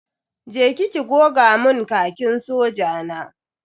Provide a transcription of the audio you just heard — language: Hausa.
Je ki ki goga mun Khakin soja na.